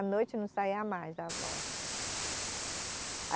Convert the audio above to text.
À noite não saía mais a voz.